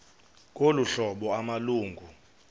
ngolu hlobo amalungu